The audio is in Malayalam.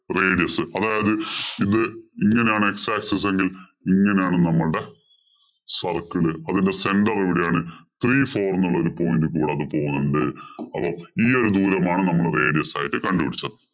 radius. അതായത് ഇത് ഇങ്ങനാണ് x axis എങ്കില്‍ ഇങ്ങനാണ് നമ്മളുടെ circle. അതിന്‍റെ center എവിടെയാണ്? Three four എന്നുള്ള ഒരു point കൂടാതെ പോകുന്നുണ്ട്. അവ ഈയൊരു ദൂരമാണ് നമ്മള് radius ആയിട്ട് കണ്ടുപിടിച്ചത്.